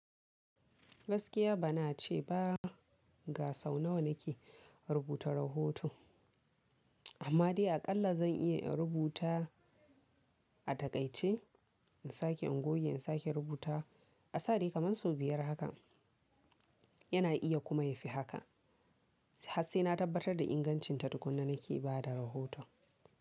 Gaskiya bana ce ba ga sau nawa nake rubuta rahoto amma dai aƙalla zan iya in rubuta a taƙaice, in sake in goge, in sake in rubutawa A sa dai kamar sau biyar haka yana iya kuma yafi haka. Har sai na tabbatar da ingancinta tukunna nake ba da rahoton.